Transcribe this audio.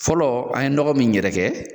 Fɔlɔ an ye dɔgɔ min yɛrɛkɛ.